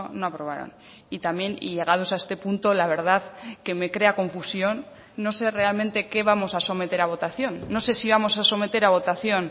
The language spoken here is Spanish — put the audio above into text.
no aprobaron y también y llegados a este punto la verdad que me crea confusión no sé realmente qué vamos a someter a votación no sé si vamos a someter a votación